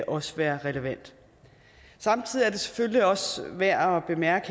også være relevant samtidig er selvfølgelig også værd at bemærke